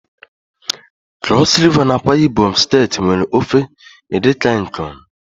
Cross River na AkwaIbom steeti nwe ofe Edikan Ikong